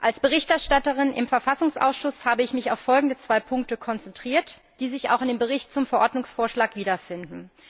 Als Berichterstatterin im Verfassungsausschuss habe ich mich auf folgende zwei Punkte konzentriert, die sich auch in dem Bericht zum Verordnungsvorschlag wiederfinden.